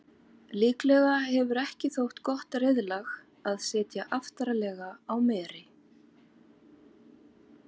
líklega hefur ekki þótt gott reiðlag að sitja aftarlega á meri